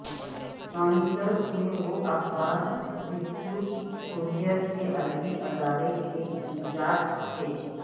nineties میں وہ اخبار رسکیو کوریر کے ادبی ادارے کے انچارج تھے